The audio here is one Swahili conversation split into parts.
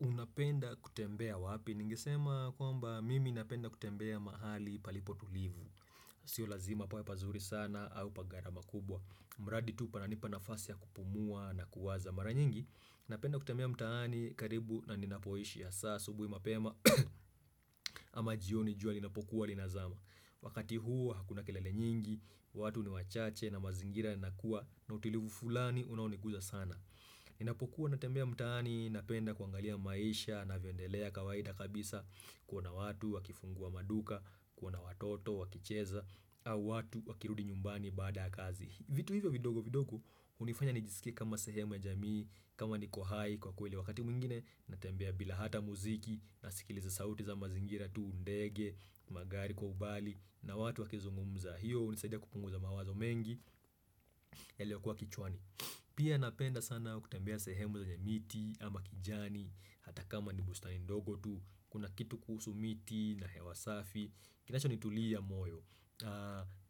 Unapenda kutembea wapi? Ningesema kwamba mimi napenda kutembea mahali palipo tulivu. Sio lazima pawe pazuri sana au pa gharama kubwa. Mradi tu pananipa nafasi ya kupumua na kuwaza. Mara nyingi napenda kutembea mtaani karibu na ninapoishi hasaa asubuhi mapema ama jioni jua linapokuwa linazama. Wakati huo hakuna kelele nyingi, watu ni wachache na mazingira yanakuwa na utilivu fulani unaonikuza sana. Ninapokuwa natembea mtaani napenda kuangalia maisha inavyoendelea kawaida kabisa kuona watu wakifungua maduka, kuona watoto wakicheza au watu wakirudi nyumbani baada ya kazi. Vitu hivyo vidogo vidogo hunifanya nijisikie kama sehemu ya jamii, kama niko hai kwa kweli wakati mwingine, natembea bila hata muziki, nasikiliza sauti za mazingira tu ndege, magari kwa umbali, na watu wakizungumza. Hiyo hunisadia kupunguza mawazo mengi, yaliyokuwa kichwani. Pia napenda sana kutembea sehemu zenye miti ama kijani, hata kama ni bustani ndogo tu, kuna kitu kuhusu miti, na hewa safi. Kinachonitulia moyo,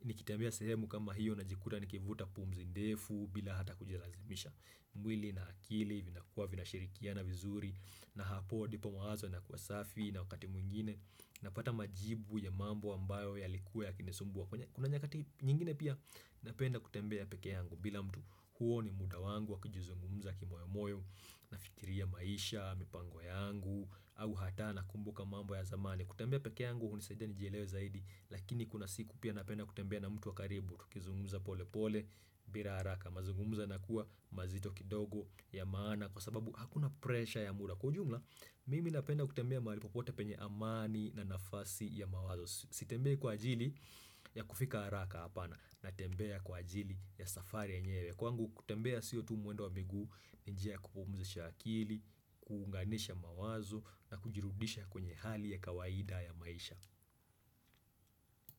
nikitembea sehemu kama hiyo najikuta nikivuta pumzi ndefu bila hata kujilazimisha mwili na akili vinakuwa vinashirikiana vizuri na hapo ndipo mawazo yanakuwa safi na wakati mwingine napata majibu ya mambo ambayo yalikuwa yakinisumbua kwenye kuna nyakati nyingine pia napenda kutembea peke yangu bila mtu huo ni muda wangu wa kujizungumza kimoyo moyo nafikiria maisha, mipango yangu au hata nakumbuka mambo ya zamani. Kutembea peke yangu hunisaidia nijielewe zaidi lakini kuna siku pia napenda kutembea na mtu wa karibu tukizungumza pole pole bila haraka. Mazungumzo yanakua mazito kidogo ya maana kwa sababu hakuna pressure ya muda. Kwa jumla mimi napenda kutembea mahali popote penye amani na nafasi ya mawazo. Sitembei kwa ajili ya kufika haraka hapana, natembea kwa ajili ya safari yenyewe kwangu kutembea sio muendo wa miguu ni njia ya kupumzisha akili, kuunganisha mawazo na kujirudisha kwenye hali ya kawaida ya maisha.